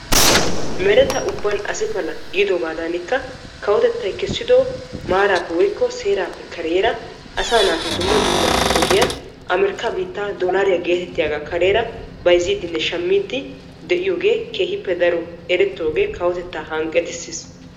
Mereta ubbaan asi pala giidogadanikka kawotettay kessido maarappe woykko seerappe kareera asaa naati dumma dumma ogiyaara amerikkaa biittaa doolariyaa getettiyaagaa kareera bayzziidinne shammiidi de'iyoogee daroppe erettoogee kawotettaa daro hanqettiisis